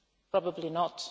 Probably not